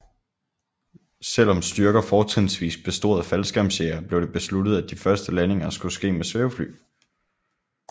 Selv om styrker fortrinsvis bestod af faldskærmsjægere blev det besluttet at de første landinger skulle ske med svævefly